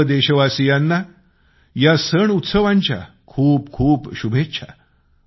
सर्व देशवासियांना या सणउत्सवांच्या खूप खूप शुभेच्छा